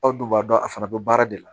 Aw dun b'a dɔn a fana bɛ baara de la